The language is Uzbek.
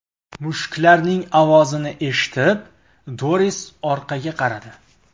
Mushuklarning ovozini eshitib, Doris orqaga qaradi.